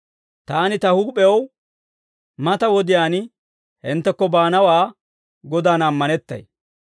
Taani ta huup'ew mata wodiyaan hinttekko baanawaa Godan ammanettay.